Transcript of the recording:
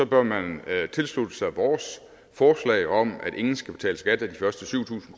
bør man tilslutte sig vores forslag om at ingen skal betale skat af de første syv tusind